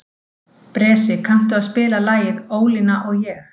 Bresi, kanntu að spila lagið „Ólína og ég“?